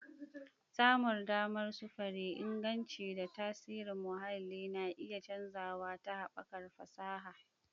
Samun damar sufuri, inganci, da tasirin muhalli na iya canzawa ta haɓakar fasaha.